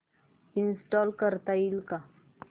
install करता येईल का